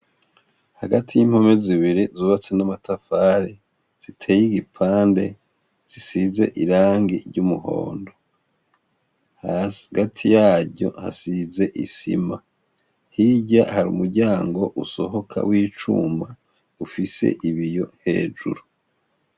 Hagati y'impome z'ibiri zubatse n'amatafari ,ziteye igipande zisize irangi ry'umuhondo ,hagati yaryo hasize isima, hirya hari umuryango usohoka w'icuma ,ufise ibiyo hejuru .